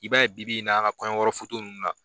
I b'a ye bi-bi in na a ka kɔɲɔyɔrɔ foto ninnu na